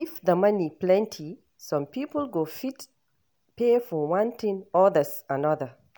If the money plenty some people go fit pay for one thing, others another